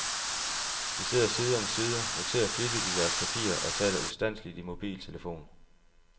De sidder side om side, noterer flittigt i deres papirer og taler ustandseligt i mobiltelefon.